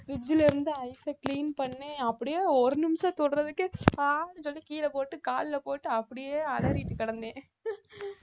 fridge ல இருந்து ice அ clean பண்ணி அப்படியே ஒரு நிமிஷம் தொடுறதுக்கு அஹ் சொல்லி கீழ போட்டு கால்ல போட்டு அப்படியே அலறிட்டு கிடந்தேன்